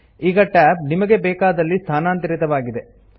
ಈಗ ಟ್ಯಾಬ್ ನೀಮಗೆ ಬೇಕಾದಲ್ಲಿ ಸ್ಥಾನಾಂತರಿತವಾಗಿದೆ